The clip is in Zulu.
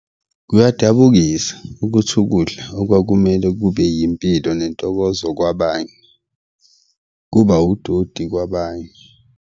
Kuyadabukisa ukuthi ukudla okwakumele kube yimpilo nentokozo kwabanye, kuba udoti kwabanye.